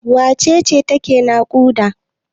Wace ce take naƙuda?